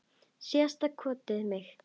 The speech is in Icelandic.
Síðasta skotið á mig.